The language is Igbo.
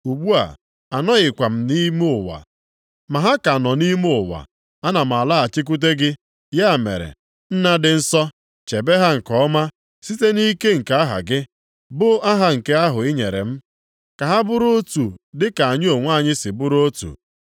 Ugbu a, anọghịkwa nʼime ụwa, ma ha ka nọ nʼime ụwa, ana m alaghachikwute gị. Ya mere, Nna dị nsọ, chebe ha nke ọma site nʼike nke aha gị, bụ aha nke ahụ i nyere m, ka ha bụrụ otu dịka anyị onwe anyị si bụrụ otu.